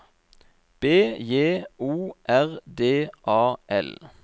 B J O R D A L